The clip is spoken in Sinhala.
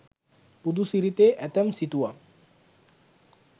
බුදු සිරිතේ ඇතැම් සිතුවම්